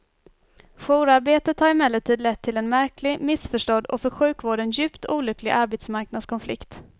Jourarbetet har emellertid lett till en märklig, missförstådd och för sjukvården djupt olycklig arbetsmarknadskonflikt.